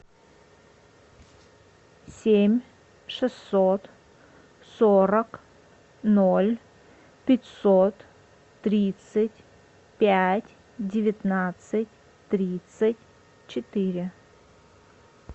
семь шестьсот сорок ноль пятьсот тридцать пять девятнадцать тридцать четыре